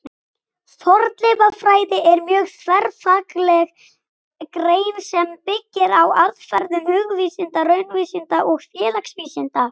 Fornleifafræði er mjög þverfagleg grein sem byggir á aðferðum hugvísinda, raunvísinda og félagsvísinda.